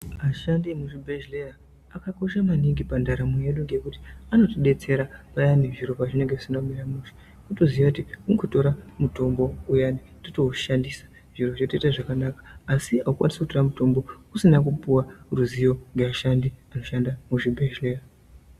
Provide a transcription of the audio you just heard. Ashandi emuzvibhedhlera akakosha maningi pandaramo yedu ngekuti anotidetsera payani zviro pazvinenge zvisina kumira mushe wotoziya kuti mukutora mutombo uyani woshandisa zviro zvoita zvakanaka asi haikwanisi kutora mutombo usina kupuwa ruzivo nevashandi vanoshanda muzvibhedhlera.